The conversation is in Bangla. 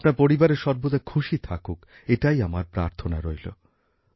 আপনার পরিবারে সর্বদা খুশি থাকুক এটাই আমার প্রার্থনা রইলো